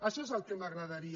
això és el que m’agradaria